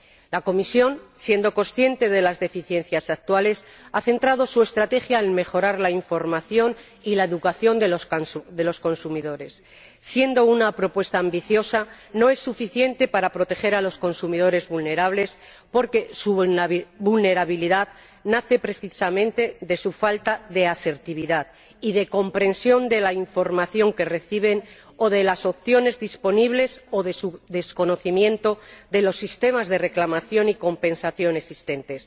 La Comisión, siendo consciente de las deficiencias actuales, ha centrado su estrategia en mejorar la información y la educación de los consumidores. Siendo una propuesta ambiciosa, no es suficiente para proteger a los consumidores vulnerables, porque su vulnerabilidad nace precisamente de su falta de asertividad y de comprensión de la información que reciben, o de las opciones disponibles, o de su desconocimiento de los sistemas de reclamación y compensación existentes,